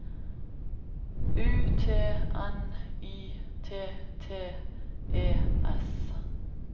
U T N Y T T E S